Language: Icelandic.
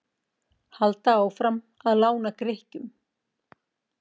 Halda áfram að lána Grikkjum